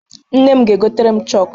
Nne m ga-egotere m chokụ.